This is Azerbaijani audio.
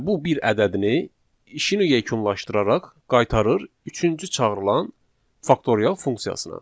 Və bu bir ədədini işini yekunlaşdıraraq qaytarır üçüncü çağırılan faktorial funksiyasına.